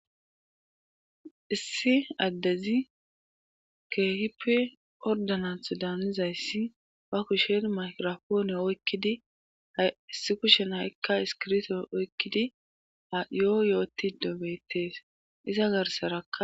issi addezi keehipi ordanatho daanizayssi ba kushen maykrapooni oykkidi issi kushen ha'ikka iskirto oykkidi ayoo yootido beettees iza garsaraka